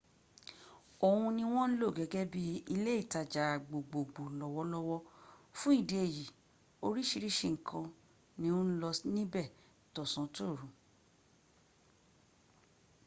òhun ni wọ́n ń lò gẹ́gẹ́ bí ilé ìtajà gbogbogbo lọ́wọ́lọ́wọ́ fún ìdí èyí oríṣìíríṣìí nǹkan ni ó ń lọ níbẹ̀ tọ̀sán-tòru